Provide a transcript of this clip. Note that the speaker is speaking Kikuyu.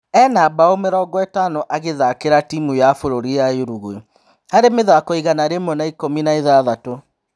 Ena-mbaũ mĩrongoĩtano agithakĩra timu ya bũrũri ya ũguai harĩ mĩthako igana rĩmwe na ikũmi na-ithathatũ.